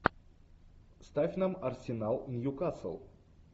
ставь нам арсенал ньюкасл